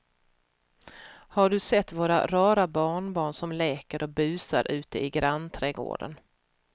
Har du sett våra rara barnbarn som leker och busar ute i grannträdgården!